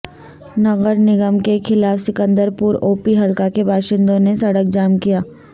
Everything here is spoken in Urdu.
نگرنگم کے خلاف سکندرپور اوپی حلقہ کے باشندوں نےسڑک جام کیا